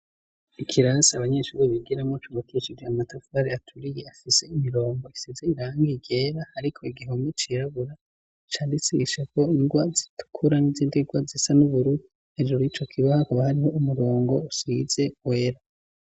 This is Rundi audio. Ikirasi abanyeshuri bigiramo cubakishije amatafari aturiye afise imirongo isize irangi ryera ariko igihome cirabura candikishijeko ingwa zitukura n'izindi ngwa zisa n'ubururu, hejuru y'ico kibaho hakaba hariho umurongo usize wera.